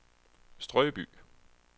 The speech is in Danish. Strøby